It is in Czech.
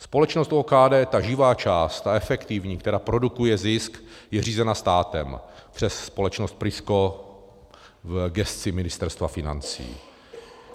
Společnost OKD, ta živá část, ta efektivní, která produkuje zisk, je řízena státem přes společnost PRISKO v gesci Ministerstva financí.